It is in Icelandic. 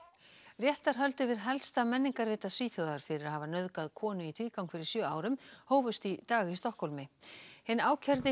réttarhöld yfir helsta Svíþjóðar fyrir að hafa nauðgað konu í tvígang fyrir sjö árum hófust í dag í Stokkhólmi hinn ákærði